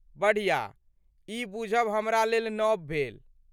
बढ़िया, ई बूझब हमरा लेल नव भेल।